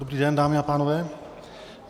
Dobrý den, dámy a pánové.